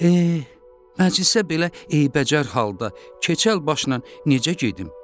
Eh, məclisə belə eybəcər halda, keçəl başla necə gedim?